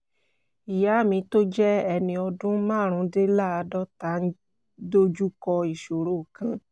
ìyá mi tó jẹ́ ẹni ọdún márùndínláàádọ́ta ń dojú kọ ìṣòro kan